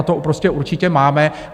A to prostě určitě máme.